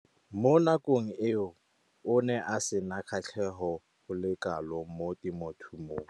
Mo nakong eo o ne a sena kgatlhego go le kalo mo temothuong.